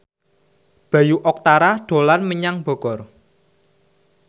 Bayu Octara dolan menyang Bogor